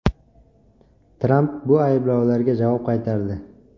Tramp bu ayblovlarga javob qaytardi.